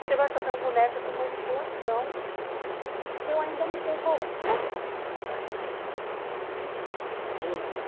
Você vai fazer um boneco de manipulação que eu ainda não sei qual é. Mas como você já tem experiência...